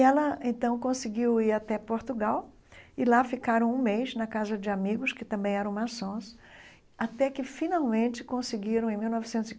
E ela então conseguiu ir até Portugal e lá ficaram um mês, na casa de amigos, que também eram maçons, até que finalmente conseguiram, em mil novecentos e